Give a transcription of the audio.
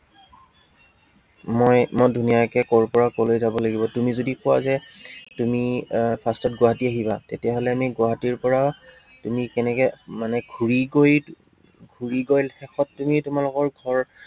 মই, মই ধুনীয়াকে কৰ পৰা কলৈ যাব লাগিব, তুমি যদি কোৱা যে তুমি আহ first ত গুৱাহাটী আহিবা, তেতিয়া হলে আমি গুৱাহাটীৰ পৰা কেনেকে মানে ঘূৰি গৈ, মানে ঘূৰি গৈ শেষত তুমি তোমালোকৰ ঘৰ